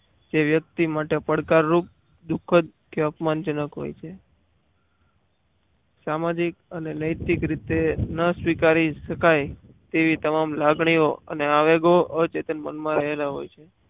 જે વ્યક્તિ માટે પડકારરૂપ દુઃખદ કે અપમાનજનક હોય છે સામાજિક રીતે રસ સ્વીકારી શકાય તેવી તમામ લાગણીઓ અને આવે અચેતન મનમાં રહેલા હોય છે.